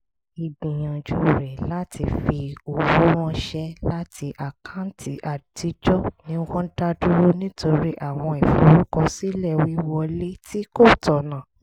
ìgbìyànjú rẹ̀ láti fi owó ránṣẹ́ láti àkáǹtì àtijọ́ ni wọ́n dá dúró nítorí àwọn ìforúkọsílẹ̀ wíwọlé tí kò tọ̀nà